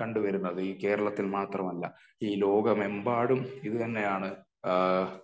കണ്ടുവരുന്നത്. ഈ കേരളത്തില് മാത്രമല്ല ഈ ലോകമെമ്പാടും ഇത് തന്നെയാണ്